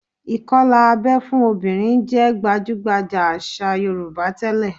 Ìkọlà abẹ́ fún obìnrin jẹ́ gbajúgbajà àṣà Yorùbá tẹ́lẹ̀